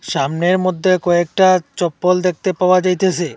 ছামনের মদ্যে কয়েকটা চপ্পল দেখতে পাওয়া যাইতাসে।